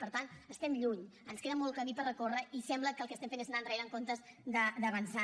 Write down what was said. per tant n’estem lluny ens queda molt camí per recórrer i sembla que el que estem fent és anar enrere en comptes d’avançar